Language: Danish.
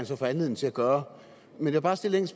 så få anledning til at gøre jeg vil bare stille et